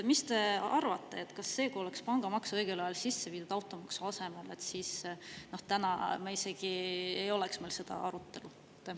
Mis te arvate, kui oleks pangamaks õigel ajal sisse viidud automaksu asemel, kas siis täna meil isegi oleks seda arutelu?